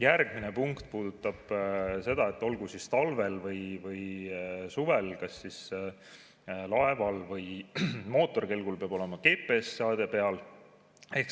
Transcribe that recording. Järgmine punkt puudutab seda, et olgu siis talvel või suvel, kas laeval või mootorkelgul peab olema GPS-seade peal.